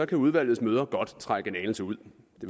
kan udvalgets møder godt trække en anelse ud